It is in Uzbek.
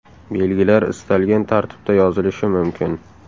Belgilar istalgan tartibda yozilishi mumkin.